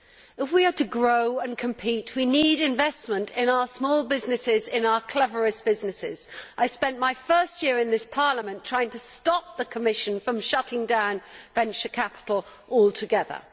If we are to grow and compete, we need investment in our small businesses and in our cleverest businesses. I spent my first year in this Parliament trying to stop the Commission from shutting down venture capital altogether.